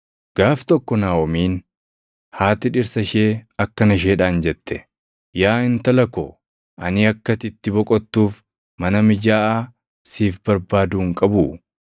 Gaaf tokko Naaʼomiin haati dhirsa ishee akkana isheedhaan jette; “Yaa intala ko, ani akka ati itti boqottuuf mana mijaaʼaa siif barbaaduu hin qabuu?